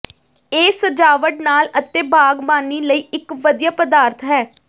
ਇਹ ਸਜਾਵਟ ਨਾਲ ਅਤੇ ਬਾਗਬਾਨੀ ਲਈ ਇਕ ਵਧੀਆ ਪਦਾਰਥ ਹੈ